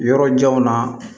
Yɔrɔ janw na